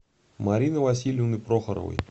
марины васильевны прохоровой